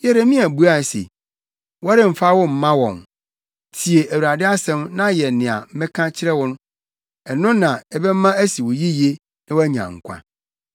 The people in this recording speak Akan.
Yeremia buae se, “Wɔremfa wo mma wɔn. Tie Awurade asɛm na yɛ nea meka kyerɛ wo. Ɛno na ɛbɛma asi wo yiye na woanya nkwa.